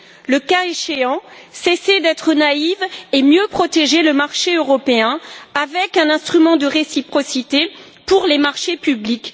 Le cas échéant, cessez d'être naïve et protégez mieux le marché européen avec un instrument de réciprocité pour les marchés publics!